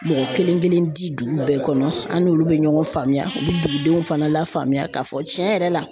Mɔgɔ kelen kelen di dugu bɛɛ kɔnɔ an n'olu bɛ ɲɔgɔn faamuya u bɛ dugudenw fana lafaamuya k'a fɔ tiɲɛ yɛrɛ la.